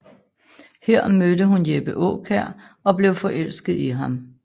Her mødte hun Jeppe Aakjær og blev forelsket i ham